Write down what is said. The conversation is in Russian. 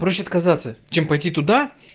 проще отказаться чем пойти туда